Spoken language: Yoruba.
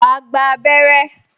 Wà á gba abẹrẹ́